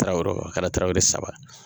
Tarawelew a kɛra tarawele saba.